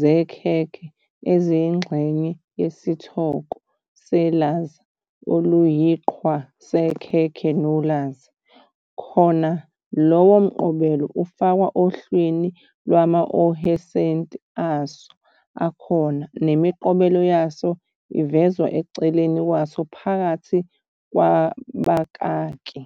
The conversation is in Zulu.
zekhekhe eziyingxenye yesithoko selaza oluyiqhwa "sekhekhe nolaza", khona lowo mqobelo ufakwa ohlwini ngamaohesenti aso akhona, nemiqobelo yaso ivezwa eceleni kwaso phakathi kwabakaki.